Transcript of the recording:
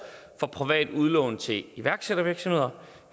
for privat udlån til iværksættervirksomheder